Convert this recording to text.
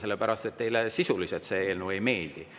Teile see eelnõu sisuliselt ei meeldi.